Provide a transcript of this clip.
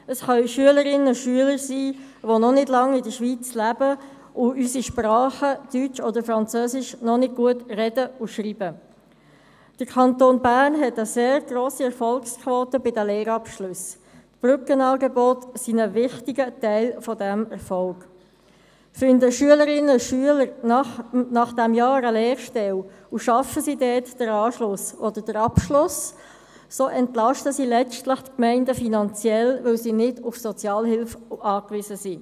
Finden Schülerinnen und Schüler nach diesem Jahr eine Lehrstelle und schaffen sie dort den Anschluss oder den Abschluss, entlasten sie letztlich die Gemeinden finanziell, weil sie nicht auf Sozialhilfe angewiesen sind.